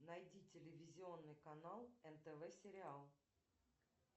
найди телевизионный канал нтв сериал